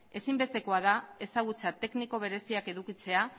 ezinbestekoa da ezagutza tekniko bereziak edukitzea